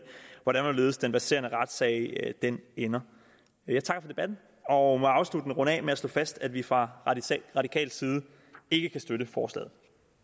hvordan og hvorledes den verserende retssag ender ender jeg takker for debatten og må afsluttende runde af med at slå fast at vi fra radikal side ikke kan støtte forslaget